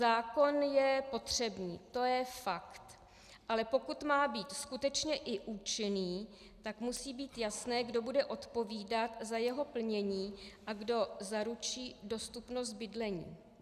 Zákon je potřebný, to je fakt, ale pokud má být skutečně i účinný, tak musí být jasné, kdo bude odpovídat za jeho plnění a kdo zaručí dostupnost bydlení.